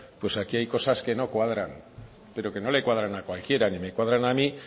pues aquí hay cosas que no cuadran pero que no le cuadran a cualquiera ni me cuadran a mí